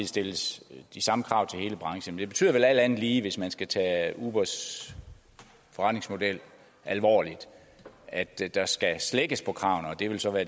stilles de samme krav til hele branchen det betyder vel alt andet lige hvis man skal tage ubers forretningsmodel alvorligt at der skal slækkes på kravene og at det så vil